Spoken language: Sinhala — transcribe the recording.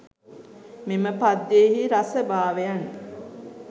මෙම පද්‍යයෙහි රස භාවයන්